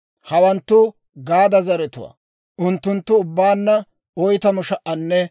Hawanttu Gaada zaratuwaa; unttunttu ubbaanna 40,500.